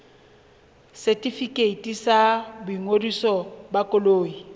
setefikeiti sa boingodiso ba koloi